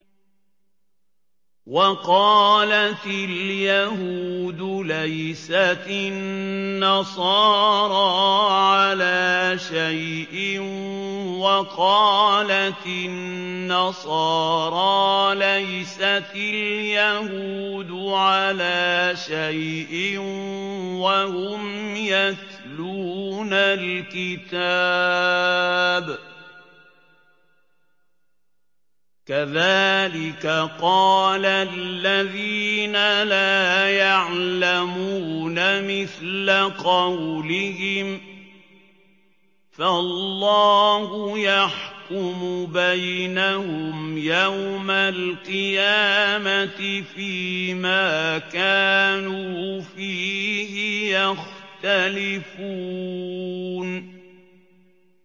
وَقَالَتِ الْيَهُودُ لَيْسَتِ النَّصَارَىٰ عَلَىٰ شَيْءٍ وَقَالَتِ النَّصَارَىٰ لَيْسَتِ الْيَهُودُ عَلَىٰ شَيْءٍ وَهُمْ يَتْلُونَ الْكِتَابَ ۗ كَذَٰلِكَ قَالَ الَّذِينَ لَا يَعْلَمُونَ مِثْلَ قَوْلِهِمْ ۚ فَاللَّهُ يَحْكُمُ بَيْنَهُمْ يَوْمَ الْقِيَامَةِ فِيمَا كَانُوا فِيهِ يَخْتَلِفُونَ